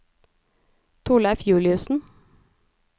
Torleiv Juliussen